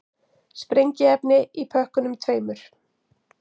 Sprengiefni í pökkunum tveimur